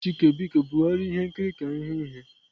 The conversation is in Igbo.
Chike biko bugharịa ihe nkiri ka ịhụ ihe.